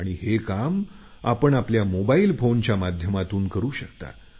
आणि आपण हे काम मोबाईल फोनच्या माध्यमातून करू शकता